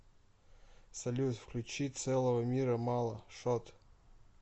салют включи целого мира мало шот